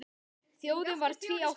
Þjóðin varð tvíátta um stund.